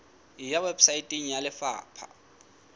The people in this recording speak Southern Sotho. e ya weposaeteng ya lefapha